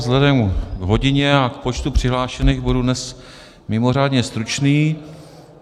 Vzhledem k hodině a k počtu přihlášených budu dnes mimořádně stručný.